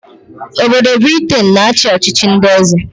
Obodo Briten na-achị ọchịchị ndị eze